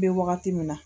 N bɛ wagati min na